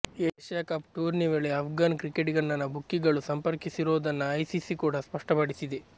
Asia Cup tourney ವೇಳೆ ಅಫ್ಘಾನ್ ಕ್ರಿಕೆಟಿಗನನ್ನ ಬುಕ್ಕಿಗಳು ಸಂಪರ್ಕಿಸಿರೋದನ್ನ ಐಸಿಸಿ ಕೂಡ ಸ್ಪಷ್ಟಪಡಿಸಿದೆ